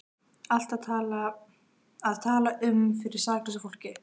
Að tala um fyrir saklausu fólki